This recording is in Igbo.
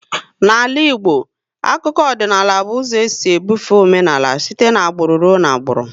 N'ala Igbo, akụkọ ọdịnala by ụzọ e si bufe omenaala site n'agbụrụ ruo n'agbụrụ